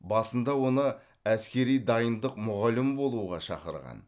басында оны әскери дайындық мұғалімі болуға шақырған